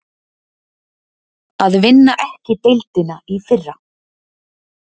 Að vinna ekki deildina í fyrra